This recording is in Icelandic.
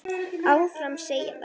Áfram, segja þær.